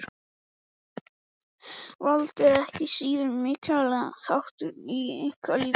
Vald er ekki síður mikilvægur þáttur í einkalífinu.